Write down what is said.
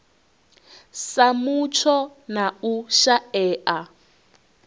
sa mutsho na u shaea